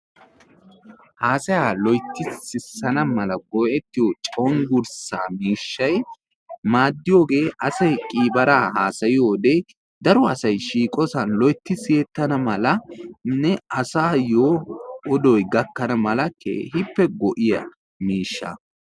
haasayaa loytti siyana mala go'ettiyo cengursaa miishshay maadiyoge asay qiibara haasaya sayana mala keehippe go'iya miishsha.